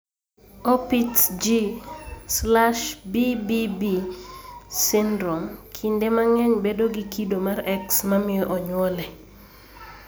Opitz G/BBB syndrome kinde mang'eny bedo gi kido mar X ma miyo onyuole.